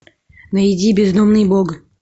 найди бездомный бог